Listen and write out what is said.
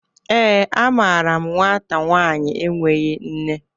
ee, amaaram nwata nwanyi enweghi nne